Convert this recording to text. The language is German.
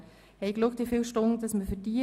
Für diese haben wir zehn Stunden eingerechnet.